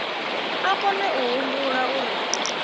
a kone a humbula uri